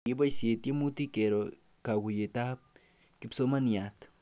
Kikiboisie tiemutik kero kaguiyetab kipsomaniat